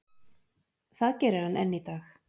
Það gerir hann enn í dag.